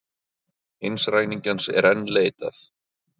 Hins ræningjans er enn leitað